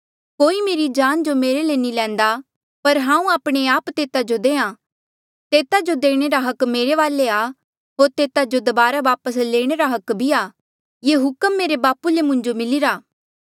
कोई मेरी जान जो मेरे ले नी लैंदा पर हांऊँ आपणे आप तेता जो देहां तेता जो देणे रा हक मेरे वाले आ होर तेता जो दबारा वापस लेणे रा भी हक आ ये हुक्म मेरे बापू ले मुंजो मिलिरा